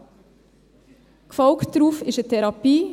Darauf gefolgt ist eine Therapie.